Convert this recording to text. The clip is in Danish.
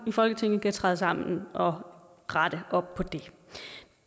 i folketinget kan træde sammen og rette op på det